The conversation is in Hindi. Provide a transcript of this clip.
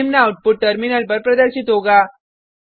निम्न आउटपुट टर्मिनल पर प्रदर्शित होगा